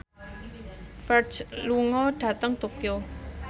Ferdge lunga dhateng Tokyo